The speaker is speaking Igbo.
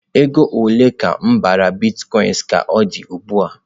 Ego ole ka m bara Bitkoinsị ka ọ dị ugbu a?